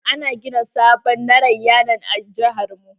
Ana gina sabon narayanan a jihar mu.